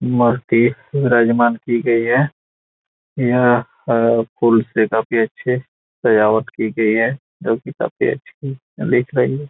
मूर्ति विराजमान की गई है यह अ फूल से काफी अच्छी सजावट की गई है जो की काफी अच्छी दिख रही है।